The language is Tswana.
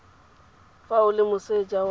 fa o le moseja wa